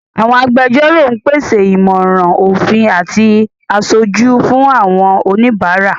Àwọn agbẹjọ́rò ń pèsè ìmọ̀ràn òfin àti aṣojú fún àwọn oníbàárà.